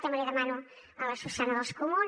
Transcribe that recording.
també li demano a la susana dels comuns